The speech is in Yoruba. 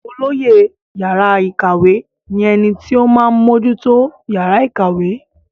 olóyè yàrá ìkàwé ní ẹni tí ó máa ń mójútó yàrá ìkàwé